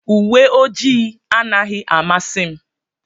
uwe ojii anaghị amasị m.